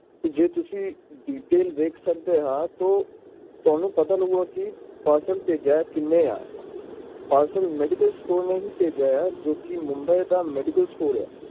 ਜੇ ਤੁਸੀਂ detailscheck ਕਰੋਂਗੇ ਤਾਂ ਤੁਸੀਂ ਦੇਖ ਸਕਦੇ ਓ ਕਿ parcel ਭੇਜਿਆ ਕਿੰਨੇ ਆ parcelmedicalmedicalstore ਨੇ ਹੀ ਭੇਜਿਆ ਹੈ ਜਿਹੜਾ ਕਿ mumbai ਦਾ medicalstore ਹੈ